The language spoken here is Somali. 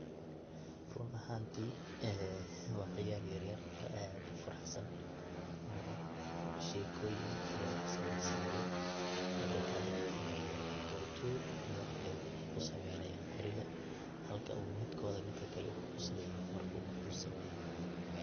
Runahantii waa ciyal yeryer oo aad u furahsan oo sheekoyin iyo wax sameysanaya. Midakale, ee qori tuur iyo wax bay kusameynayaan qoriga, halka uu midkoodi midki kale ku quslayo marka uu wax sameeyo.